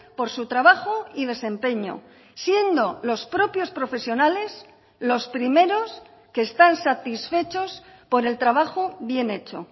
por su trabajo y desempeño siendo los propios profesionales los primeros que están satisfechos por el trabajo bien hecho